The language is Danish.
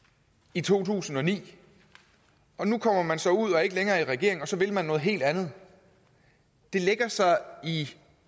i to tusind og ni nu kommer man så ud og er ikke længere i regering og så vil man noget helt andet det lægger sig i